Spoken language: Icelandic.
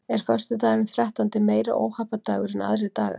Er föstudagurinn þrettándi meiri óhappadagur en aðrir dagar?